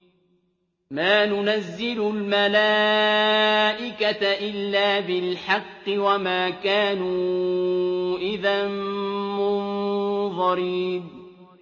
مَا نُنَزِّلُ الْمَلَائِكَةَ إِلَّا بِالْحَقِّ وَمَا كَانُوا إِذًا مُّنظَرِينَ